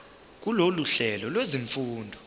kulolu hlelo lwezifundo